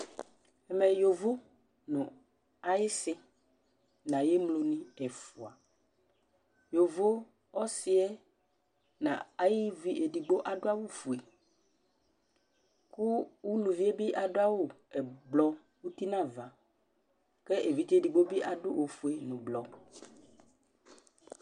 Ɛmɛ yovo ŋu ayisi ŋu ayemlo ni ɛfʋa Yovo ɔsiɛ ŋu ayʋvi ɛɖigbo aɖu awu fʋe kʋ ʋlʋvie bi aɖu awu ɛblɔ ʋti ŋu ava kʋ evidze ɛɖigbo bi aɖu ɔfʋe ŋu blɔ